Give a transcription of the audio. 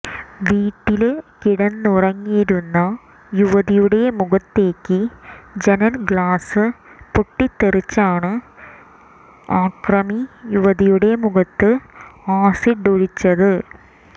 വീട്ടില് കിടന്നുറങ്ങിയിരുന്ന യുവതിയുടെ മുഖത്തേക്ക് ജനല് ഗ്ലാസ് പൊട്ടിച്ചാണ് അക്രമി യുവതിയുടെ മുഖത്ത് ആസിഡൊഴിച്ചത്